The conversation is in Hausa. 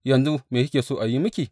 Yanzu, me kike so a yi miki?